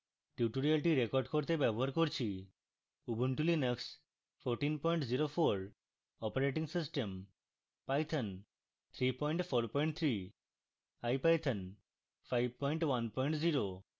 tutorial record করতে ব্যবহার করছি